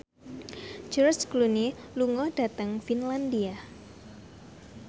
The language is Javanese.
George Clooney lunga dhateng Finlandia